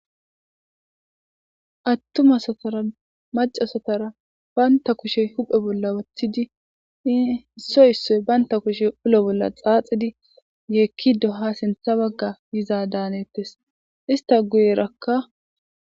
attumasatara macasatara banta kushe huphe bolla wathidi issoy issoy baynta kushe ulo bolla xaaxidi yeekki doha sintha bagga yiza daanettes ista guyerakka